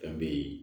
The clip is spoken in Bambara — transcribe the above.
Fɛn be ye